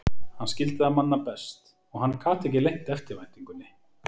Hann skildi það manna best, og hann gat ekki leynt eftirvæntingunni.